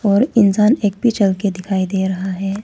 और इंसान एक भी चल के दिखाई दे रहा है।